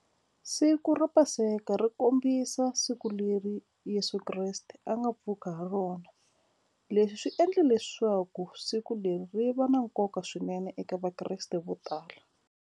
Siku ra paseka ri kombisa siku leri Yeso Kreste a nga pfuka ha rona leswi swi endle leswaku siku leri ri va na nkoka swinene eka vakreste vo tala.